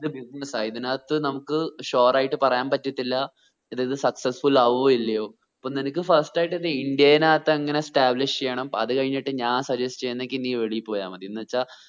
ഇത് business ആ ഇതിനത്തു നമുക്ക് sure ആയിട്ട് പറയാൻ പറ്റത്തില്ല ഇത് successfull ആവോ ഇല്ലയോ ഇപ്പം നിനക്ക് first ആയിട്ട് ഇൻഡ്യയിനത്ത് അങ്ങനെ establish ചെയ്യണം അത് കഴിഞ്ഞിട്ട് ഞാൻ suggest ചെയ്യുന്നെങ്കി നീ വെളിയിൽ പോയാമതി എന്നുവെച്ച